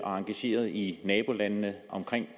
og engageret i nabolandene omkring